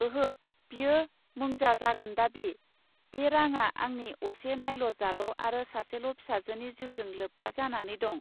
ओहो बियो मोंजा जागोन दाबि? बे राङा आंनि असे नायल जाल आरो सासेल' फिसाजोनि जिउजों लोब्बा जानानै दं